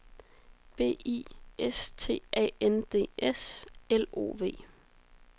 B I S T A N D S L O V